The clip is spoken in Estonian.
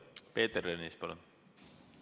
Peeter Ernits, palun!